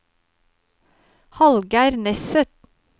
Hallgeir Nesset